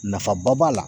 Nafaba b'a la